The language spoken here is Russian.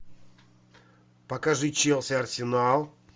покажи челси арсенал